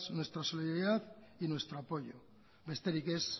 nuestra solidaridad y nuestro apoyo besterik ez